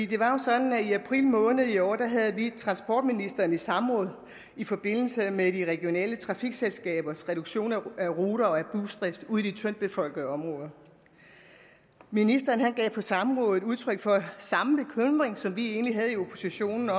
det var jo sådan at i april måned i år havde vi transportministeren i samråd i forbindelse med de regionale trafikselskabers reduktion af ruter og af busdrift ude i de tyndtbefolkede områder ministeren gav på samrådet udtryk for samme bekymring som vi egentlig havde i oppositionen